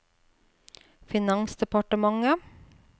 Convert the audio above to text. finansdepartementet